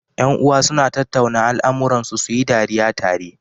Yan uwa suna tattauna al amuran su, suyi dariya tare